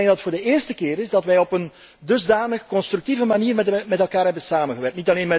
Ik denk dat het voor de eerste keer is dat wij op een dusdanig constructieve manier met elkaar hebben samengewerkt